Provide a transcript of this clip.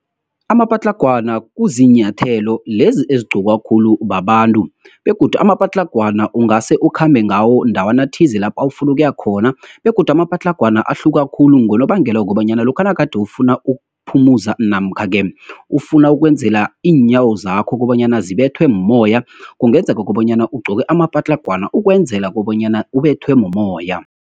Amapatlagwana kuzinyathelo lezi ezigqokwa khulu babantu, begodu amapatlagwana ungase ukhambe ngawo endawana thize lapha ufuna ukuya khona, begodu amapatlagwana ahluka khulu ngonobangela wokobanyana, lokha nagade ufuna ukuphumuza namkha-ke, ufuna ukwenzela iinyawo zakho kobanyana zibethwe mmoya, kungenzeka kobanyana ugqoke amapatlagwana ukwenzela kobanyana ubethwe mumoya.